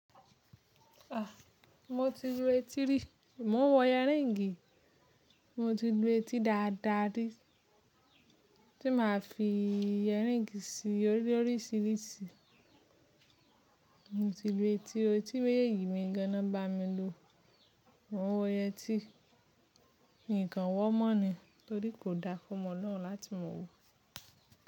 Ah! Mo ti lu etí rí, mo ń wọ yẹríǹgì, mo ti lu etí dáadáa rí, tí máa fi yẹríǹgì sí i loríṣiríṣi. Mo ti lu etí, etí méjeji mi gan na nbá mi lu. Mo ń wọ yetí, ǹkan wọ́ mọ́ ni, torí kò dára fún ọmọ olorun láti mọ wò.